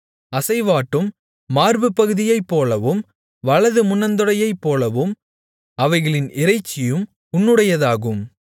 அசைவாட்டும் மார்புப்பகுதியைப்போலவும் வலது முன்னந்தொடையைப்போலவும் அவைகளின் இறைச்சியும் உன்னுடையதாகும்